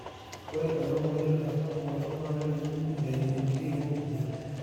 ore ena moyian naitasapuk oltau naa kejunguni eimu intiwuo pokra